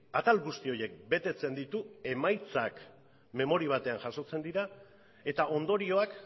atal guzti horiek betetzen ditu emaitzak memoria batean jasotzen dira eta ondorioak